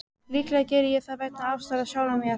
Líklega geri ég það vegna ástar á sjálfum mér.